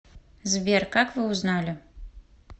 сбер как вы узнали